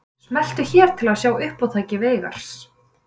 Smelltu hér til að sjá uppátæki Veigars